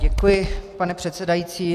Děkuji, pane předsedající.